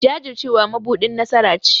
Jajircewa mabuɗin nasara ce.